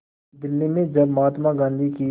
दिल्ली में जब महात्मा गांधी की